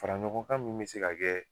Faraɲɔgɔkan min be se ka kɛ